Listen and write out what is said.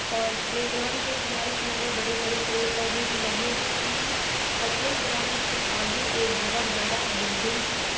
और प्लेग्राउंड के किनारे किनारे बड़े बड़े पेड़ पौधे भी लगे हुए हैं और प्लेग्राउंड के आगे एक बोहोत बड़ा बिल्डिंग है।